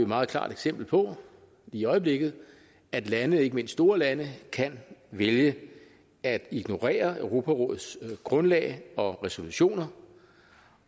meget klart eksempel på i øjeblikket at lande ikke mindst store lande kan vælge at ignorere europarådets grundlag og resolutioner